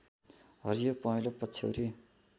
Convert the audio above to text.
हरियो पहेँलो पछ्यौरी